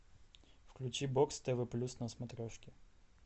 включи бокс тв плюс на смотрешке